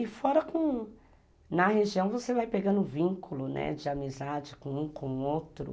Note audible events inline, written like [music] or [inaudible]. E fora, [unintelligible] na região, você vai pegando vínculo de amizade com um com o outro.